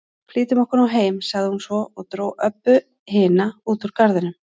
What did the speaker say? Flýtum okkur nú heim, sagði hún svo og dró Öbbu hina út úr garðinum.